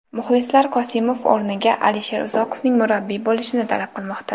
Muxlislar Qosimov o‘rniga Alisher Uzoqovning murabbiy bo‘lishini talab qilmoqda.